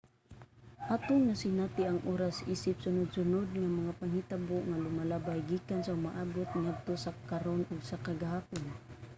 atong nasinati ang oras isip sunod-sunod nga mga panghitabo nga lumalabay gikan sa umaabot ngadto sa karon ug sa kagahapon